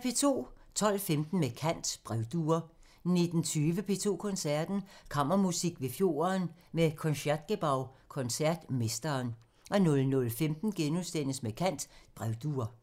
12:15: Med kant – Brevduer 19:20: P2 Koncerten – Kammermusik ved fjorden med Concertgebouw-koncertmesteren 00:15: Med kant – Brevduer *